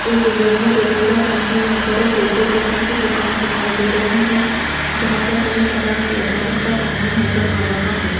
इस इमेज में देखिएगा सामने यहां पर एक डेकोरेशन की दुकान दिखाई दे रही है जहां पर कई सारा सजावट का सामान नजर आ रहा है।